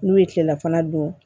N'u ye kilelafana dun